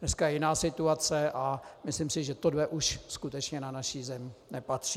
Dneska je jiná situace a myslím si, že tohle už skutečně na naši Zemi nepatří.